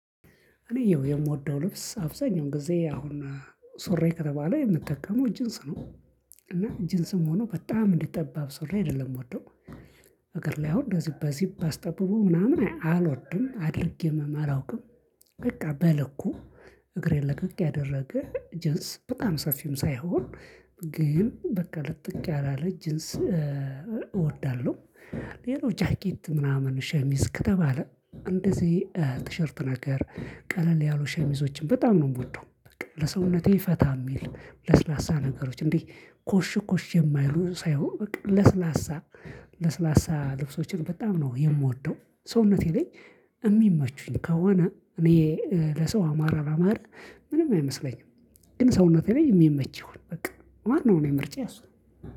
እኔ ያው የምወደው ልብስ አብዛኛው ጊዜ አሁን ሱሪ ከተባለ የምጠቀመው ጂንስ ነው እና ጂንስም ሆኖ በጣም እንዲጠባብ ሱሪ አይደለም የምወደው እግር ላይ አሁን እንደዚህ በዚኘ አስጠብቦ ምናምን አልወድም አድርጌም አላውቅም በቃ በልኩ እግሬን ለቀቅ ያደረገ ጅንስ በጣም ሰፊም ሳይሆን ግን በቃ ልጥቅ ያላለ ጅንስ እወዳለሁ። ሌላው ጃኬት ምናምን ሸሚዝ ከተባለ እንደዚህ ቲሸርት ነገር ቀለል ያሉ ሸሚዞችን በጣም ነው የምወደው። ለሰውነቴ ፈታ የሚል ለስላሳ ነገሮች እንዴ ኮሽ ኮሽ የማይሉ ሳይሆን በቃ ለስላሳ ለስላሳ ልብሶችን በጣም ነው የምወደው። ሰውነቴ ላይ የሚመቹኝ ከሆነ እኔ ለሰው አማራ አላማረ ምንም አይመስለኝም። ግን ሰውነቴ ላይ የሚመች ይሆን በቃ ዋነው እኔ ምርጫ የሱ ነው